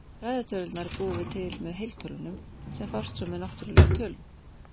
Ræðu tölurnar búum við til með heiltölunum, sem fást svo með náttúrlegu tölunum.